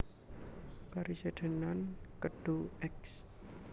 Karesidenan Kedu Eks